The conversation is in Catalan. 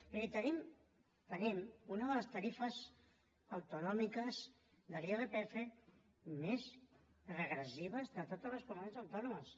vull dir tenim una de les tarifes autonòmiques de l’irpf més regressives de totes les comunitats autònomes